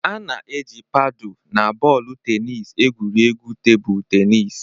A na-eji paadu na bọọlụ tenis egwuri egwu tebụl tenis.